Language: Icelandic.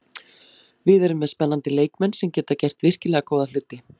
Við erum með spennandi leikmenn sem geta gert virkilega góða hluti.